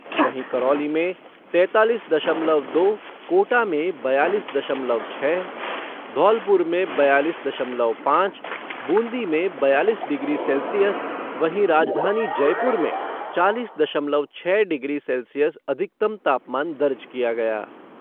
वहीं करौली में तेंतालीस दशमलव दो, कोटा में बयालीस दशमलव छः, धौलपुर में बयालीस दशमलव पाँच, बूंदी में बयालीस डिग्री सैल्सियस, राजधानी जयपुर में चालीस दशमलव छः डिग्री सैल्सियस अधिकतम तापमान दर्ज किया गया।